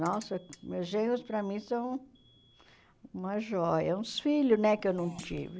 Nossa meus genros, para mim, são uma joia, uns filhos né que eu não tive.